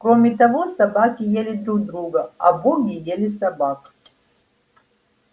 кроме того собаки ели друг друга а боги ели собак